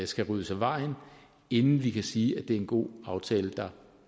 skal ryddes af vejen inden vi kan sige at det er en god aftale der